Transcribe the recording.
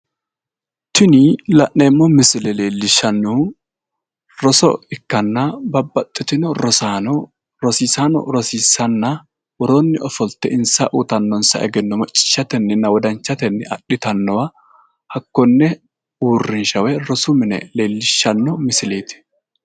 Tini la'neemmo misile leellishshanno roso ikkanna bababxxitino rosaano rosiisaano rosiissanna woroonni ofolte insa uyiitannonsa egenno macciishshatennina wodanchatenni adhitannowa hakkonne uurrinsha woy rosu mine leellishshanno misileeti